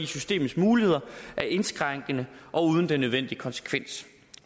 systemets muligheder er indskrænkede og uden den nødvendige konsekvens